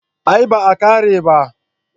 A'a bai kare ba